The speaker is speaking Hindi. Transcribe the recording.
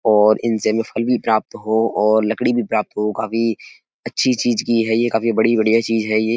और इनसे हमें फल भी प्राप्त हो और लकड़ी भी प्राप्त हो। काफी अच्छी चीज की है ये काफी बड़ी बढ़िया चीज है ये।